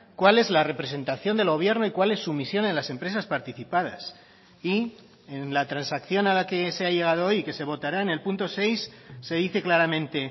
cuál es la representación del gobierno y cuál es su misión en las empresas participadas y en la transacción a la que se ha llegado hoy y que se votará en el punto seis se dice claramente